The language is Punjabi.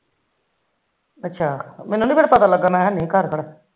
ਅੱਛਾ ਮੈਨੂੰ ਨੀ ਫਿਰ ਪਤਾ ਲੱਗਾ ਮੈ ਨਹੀ ਕਰਦਾ